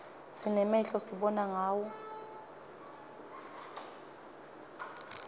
sinemehlo sibona ngawo